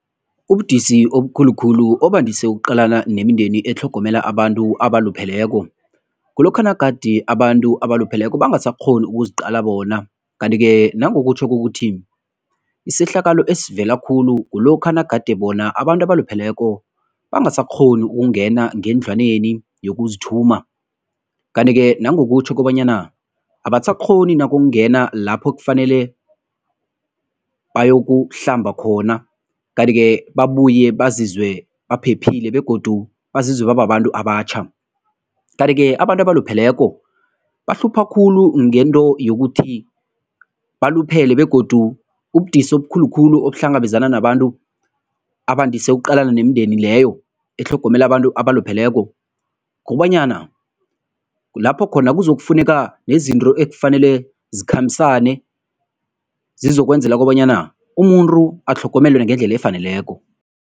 Ubudisi obukhulu khulu obandise ukuqalana nemindeni etlhogomela abantu abalupheleko, kulokha nagade abantu abalupheleko bangasakghoni ukuziqala bona kanti-ke nangokutjho kokuthi isehlakalo esivela khulu kulokha nagade bona abantu abalupheleko bangasakghoni ukungena ngendlwaneni yokuzithuma kanti-ke nangokutjho kobanyana abasakghoni nokungena lapho kufanele bayokuhlamba khona kanti-ke babuye bazizwe baphephile begodu bazizwe bababantu abatjha. Kanti-ke abantu abalupheleko bahlupha khulu ngento yokuthi baluphele begodu ubudisi obukhulu khulu obuhlangabezana nabantu abandise ukuqalana nemindeni leyo etlhogomela abantu abalupheleko, kukobanyana kulapho khona kuzokufuneka nezinto ekufanele zikhambisane, zizokwenzela kobanyana umuntu atlhogomele ngendlela efaneleko.